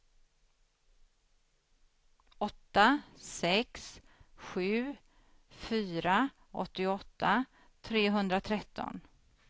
åtta sex sju fyra åttioåtta trehundratretton